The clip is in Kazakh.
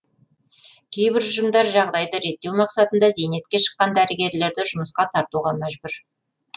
кейбір ұжымдар жағдайды реттеу мақсатында зейнетке шыққан дәрігерлерді жұмысқа тартуға мәжбүр